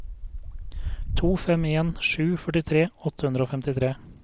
to fem en sju førtitre åtte hundre og femtitre